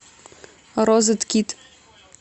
розеткид